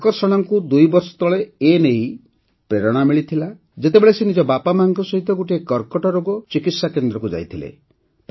ଆକର୍ଷଣାଙ୍କୁ ଦୁଇବର୍ଷତଳେ ଏ ନେଇ ପ୍ରେରଣା ମିଳିଥିଲା ଯେତେବେଳେ ସେ ନିଜ ବାପାମାଆଙ୍କ ସହିତ ଗୋଟିଏ କର୍କଟରୋଗ ଚିକିତ୍ସାକେନ୍ଦ୍ରକୁ ଯାଇଥିଲେ